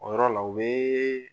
O yɔrɔ la u be